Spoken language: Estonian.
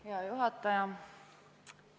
Hea juhataja!